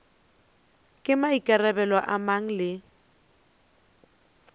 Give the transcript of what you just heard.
ke maikarabelo a mang le